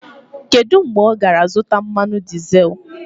Kedu mgbe ọ gara zụta mmanụ dizel?